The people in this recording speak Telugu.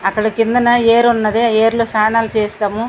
అక్కడ కిందన ఏరు ఉన్నది ఏర్లు స్నానాలు చేస్తాము.